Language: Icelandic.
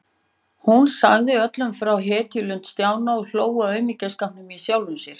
Og hún sagði öllum frá hetjulund Stjána og hló að aumingjaskapnum í sjálfri sér.